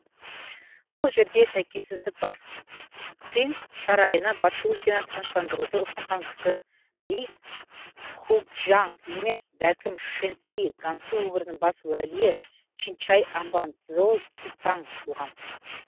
бұл жерде сәйкессіздік бар циң сарайына батыс өлкені тыныштандыруды ұсынған кісі ли хуңчжаң емес бәлкім шэнси гансу өңірінің бас уәлиі чинчай амбан цзо цзуңтаң болған